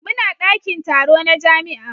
Muna dakin taro na jami'a.